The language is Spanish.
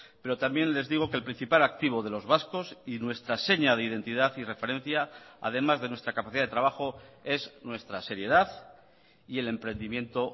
pero también les digo que el principal activo de los vascos y nuestra seña de identidad y referencia además de nuestra capacidad de trabajo es nuestra seriedad y el emprendimiento